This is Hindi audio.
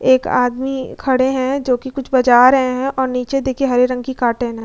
एक आदमी खड़े हैं जो कि कुछ बजा रहे हैं और नीचे देखिए हरे रंग की कार्टन है।